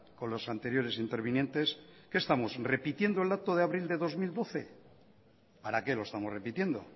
con las anteriores intervinientes qué estamos repitiendo el dato de abril de dos mil doce para qué lo estamos repitiendo